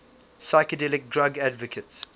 psychedelic drug advocates